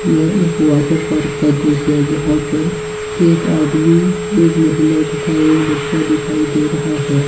यह एक water park का दृस्य है। जहां पर एक आदमी एक महिला तथा एक बच्चा दिखाई दे रहा है ।